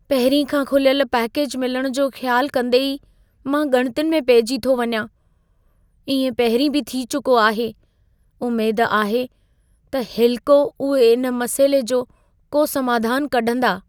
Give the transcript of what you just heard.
पहिरीं खां खुलियल पैकेज मिलणु जो ख़्याल कंदे ई मां ॻणितियुनि में पेइजी थो वञां। इएं पहिरीं बि थी चुको आहे ; उमेद आहे त हेलिको उहे इन मसइले जो को समाधानु कढंदा।